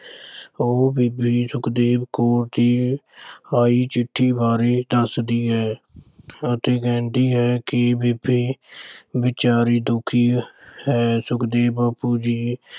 ਉਹ ਬੀਬੀ ਜੀ ਸੁਖਦੇਵ ਕੌਰ ਦੀ ਆਈ ਚਿੱਠੀ ਬਾਰੇ ਦੱਸਦੀ ਹੈ ਅਤੇ ਕਹਿੰਦੀ ਹੈ ਕਿ ਬੀਬੀ ਵਿਚਾਰੀ ਦੁਖੀ ਹੈ। ਸੁਖਦੇਵ ਬਾਪੂ ਜੀ